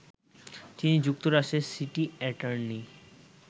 তিনি যুক্তরাষ্ট্রের city attorney